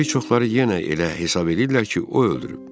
Bir çoxları yenə elə hesab eləyirlər ki, o öldürüb.